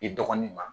I dɔgɔnin ma